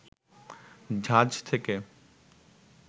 ঝাঁজ থেকে